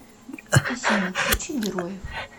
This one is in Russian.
афина включи героев